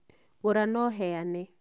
Gũra na uheane